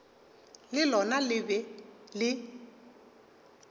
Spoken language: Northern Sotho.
le lona le be le